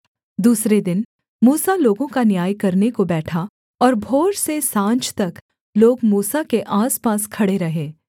दूसरे दिन मूसा लोगों का न्याय करने को बैठा और भोर से साँझ तक लोग मूसा के आसपास खड़े रहे